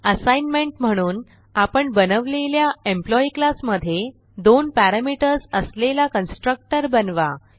assignment म्हणून आपण बनवलेल्या एम्प्लॉई क्लास मधे दोन पॅरामीटर्स असलेला कन्स्ट्रक्टर बनवा